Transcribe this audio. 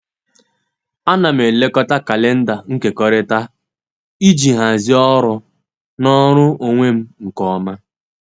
A na m elekọta kalenda nkekọrịta iji hazie ọrụ na ọrụ onwe m nke ọma.